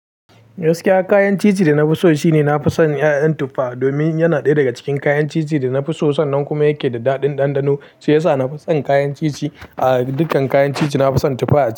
Gaskiya kayan ci ci da na fi so shine na fi son ƴaƴan tuffa. Domin yana ɗaya daga cikin kayan ci ci da na fi so, sannan kuma yake da daɗin ɗanɗano, shi yasa na fi son kayan ci ci a dukkan kayan ci ci, na fi son tuffa.